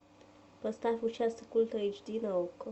поставь участок ультра эйч ди на окко